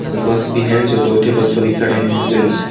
बस भी है जो दो ठे बस अभी खड़े है जेन्स --